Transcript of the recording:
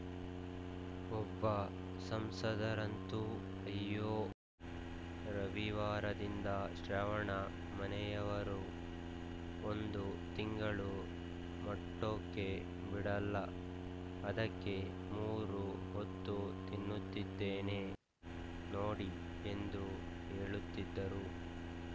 ಒಬ್ಬ ಸಂಸದರಂತೂ ಅಯ್ಯೋ ರವಿವಾರದಿಂದ ಶ್ರಾವಣ ಮನೆಯವರು ಒಂದು ತಿಂಗಳು ಮೊಟ್ಟೋಕೆ ಬಿಡೋಲ್ಲ ಅದಕ್ಕೆ ಮೂರು ಹೊತ್ತೂ ತಿನ್ನುತ್ತಿದ್ದೇನೆ ನೋಡಿ ಎಂದು ಹೇಳುತ್ತಿದ್ದರು